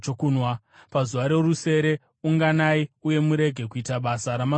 “ ‘Pazuva rorusere, unganai uye murege kuita basa ramazuva ose.